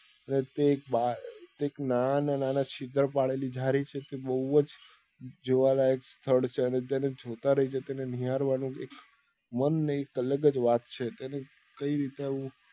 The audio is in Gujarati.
અને તે એક બ એક નાના માં નાના છિદ્ર પાડેલી જાળી છે તે બઉ જ જોવા લાયક સ્થળ છે અને તેને જોતા રહી જતા અને નિહારવા ની મન નહી એં એક અલગ જ વાત છે કે એને કઈ રીતે આવું